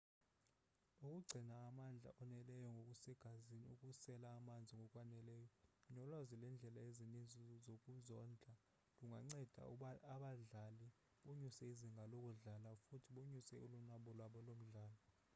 ukugcina amandla oneleyo ngokusegazini ukusela amanzi ngokwaneleyo nolwazi lwendlela ezininzi zokuzondla lunganceda abadlali bonyuse izinga lokudlala futhi bonyuse ulonwabo lwabo lomdlalo